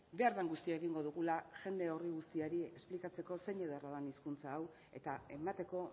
behar den guztia egingo dugula jende horri guztiari esplikatzeko zein ederra den hizkuntza hau eta emateko